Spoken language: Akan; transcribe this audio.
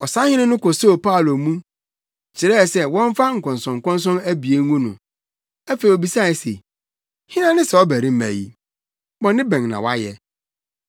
Ɔsahene no kosoo Paulo mu, kyerɛɛ sɛ wɔmfa nkɔnsɔnkɔnsɔn abien ngu no. Afei obisae se, “Hena ne saa ɔbarima yi? Bɔne bɛn na wayɛ?”